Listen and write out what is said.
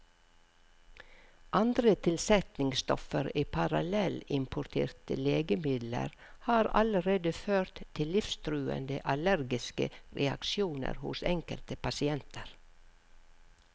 Andre tilsetningsstoffer i parallellimporterte legemidler har allerede ført til livstruende allergiske reaksjoner hos enkelte pasienter.